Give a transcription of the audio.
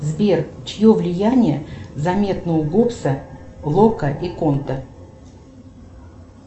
сбер чье влияние заметно у гобса лока и конта